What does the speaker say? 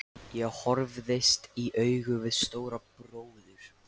Ég horfðist í augu við Stóra bróður.